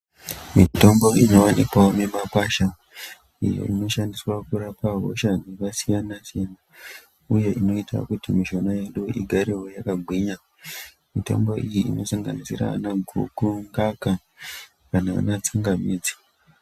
Mitombo inoonekwawo mumakwasha imwe inoshandiswa kurapa hosha dzakasiyana-siyana. Uye inoita kuti mishuna yedu igarewo yakagwinya , mitombo iyi inosanganisira ana guku, mukaka kana ana tsangamidzi.